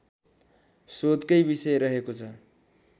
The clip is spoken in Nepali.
शोधकै विषय रहेको छ